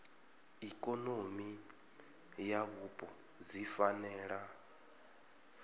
ikonomi na vhupo dzi fanela